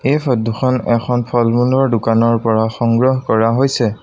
এই ফটো খন এখন ফল-মূলৰ দোকানৰ পৰা সংগ্ৰহ কৰা হৈছে।